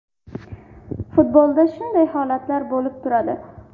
Futbolda shunday holatlar bo‘lib turadi.